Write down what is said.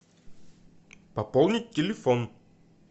пополнить телефон